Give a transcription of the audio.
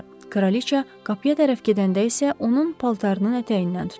Kraliçə qapıya tərəf gedəndə isə onun paltarının ətəyindən tutdu.